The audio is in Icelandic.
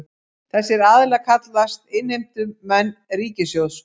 Þessir aðilar kallist innheimtumenn ríkissjóðs